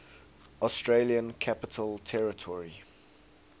australian capital territory